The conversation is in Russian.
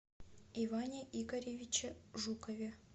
иване игоревиче жукове